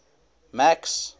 max